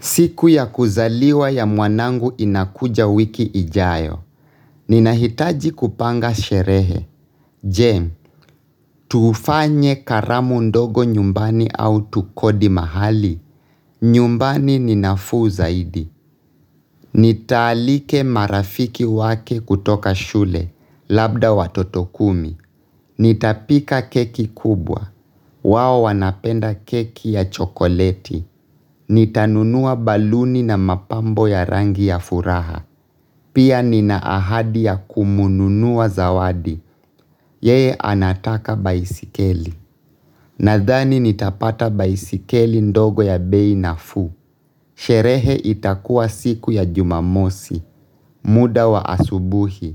Siku ya kuzaliwa ya mwanangu inakuja wiki ijayo. Ninahitaji kupanga sherehe. Je, tufanye karamu ndogo nyumbani au tukodi mahali. Nyumbani ninafuu zaidi. Nitaalika marafiki wake kutoka shule. Labda watoto kumi. Nitapika keki kubwa. Wao wanapenda keki ya chokoleti. Nitanunua baluni na mapambo ya rangi ya furaha. Pia nina ahadi ya kumnunulia zawadi. Yeye anataka baisikeli. Nadhani nitapata baisikeli ndogo ya bei nafuu. Sherehe itakuwa siku ya jumamosi, muda wa asubuhi.